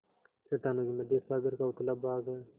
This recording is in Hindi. चट्टानों के मध्य सागर का उथला भाग है